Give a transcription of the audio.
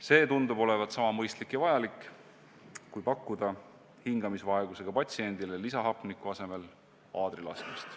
See tundub olevat sama mõistlik ja vajalik, kui pakkuda hingamisvaegusega patsiendile lisahapniku asemel aadrilaskmist.